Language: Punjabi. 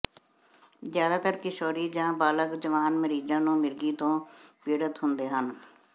ਜ਼ਿਆਦਾਤਰ ਕਿਸ਼ੋਰੀ ਜਾਂ ਬਾਲਗ ਜਵਾਨ ਮਰੀਜ਼ਾਂ ਨੂੰ ਮਿਰਗੀ ਤੋਂ ਪੀੜਤ ਹੁੰਦੇ ਹਨ